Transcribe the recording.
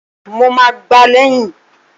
Mo ma gbá lẹ̀yìn!